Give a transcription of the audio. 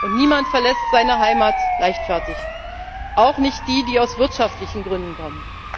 Und niemand verlässt seine Heimat leichtfertig, auch nicht die, die aus wirtschaftlichen Gründen kommen.